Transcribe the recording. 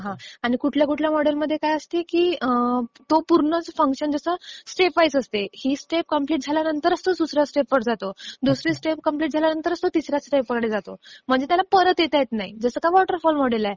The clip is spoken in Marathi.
हां. आणि कुठल्या कुठल्या मॉडेल मध्ये काय असते की तो पूर्णच फंक्शन जो असतो तो स्टेपवाईज असतो. ही स्टेप कंप्लिट झाल्यावरच तो दुसऱ्या स्टेपवर जातो. दुसरी स्टेप कंप्लिट झाल्यावरच तो तिसऱ्या स्टेपवर जातो. म्हणजे त्याला परत येता येत नाही. जसं वॉटरफॉल मॉडेल आहे.